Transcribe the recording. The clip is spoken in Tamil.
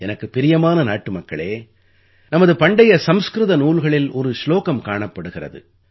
எனக்குப் பிரியமான நாட்டுமக்களே நமது பண்டைய சம்ஸ்கிருத நூல்களில் ஒரு சுலோகம் காணப்படுகிறது